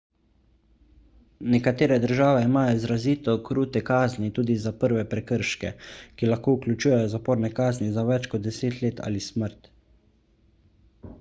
nekatere države imajo izrazito krute kazni tudi za prve prekrške ki lahko vključujejo zaporne kazni za več kot 10 let ali smrt